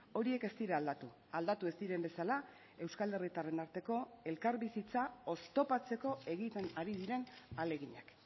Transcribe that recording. horiek ez dira aldatu aldatu ez diren bezala euskal herritarren arteko elkarbizitza oztopatzeko egiten ari diren ahaleginak